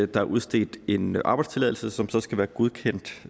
der er udstedt en arbejdstilladelse som så skal være godkendt